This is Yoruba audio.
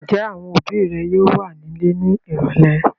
Ǹjẹ́ àwọn òbí rẹ yóò wà nílé ní ìrọ́lẹ́?